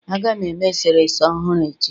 Aga m eme eserese ọhụrụ echi